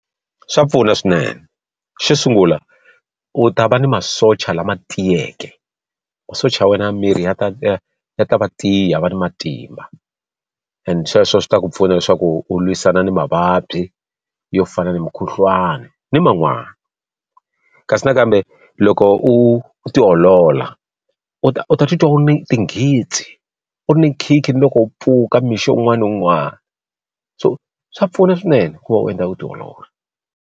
Swa pfuna swinene. Xo sungula u ta va ni masocha lama tiyeke, masocha ya wena ya miri ya ta ya ta va tiya ya va ni matimba and sweswo swi ta ku pfuna leswaku u lwisana ni mavabyi yo fana na mukhuhlwani ni man'wani. Kasi na kambe loko u u tiolola, u ta u ta titwa u ri ni tinghitsi, u ni nkhinkhi ni loko u pfuka mixo un'wana ni un'wana. So swa pfuna swinene ku va u endla vutiolori.